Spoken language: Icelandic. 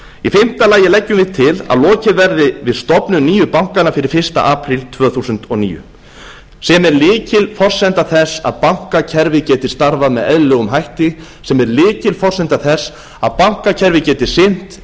í fimmta lagi leggjum við til að lokið verði við stofnun nýju bankanna fyrir fyrsta apríl tvö þúsund og níu sem er lykilforsenda þess að bankakerfið geti starfað með eðlilegum hætti sem er lykilforsenda þess að bankakerfið geti sinnt